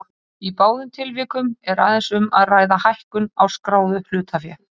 Í báðum tilvikum er aðeins um að ræða hækkun á skráðu hlutafé.